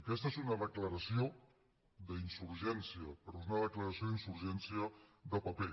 aquesta és una declaració d’insurgència però és una declaració d’insurgència de paper